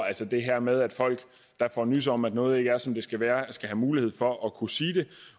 altså det her med at folk der får nys om at noget ikke er som det skal være skal have mulighed for at kunne sige det